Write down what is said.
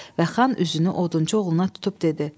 Və xan üzünü odunçu oğluna tutub dedi: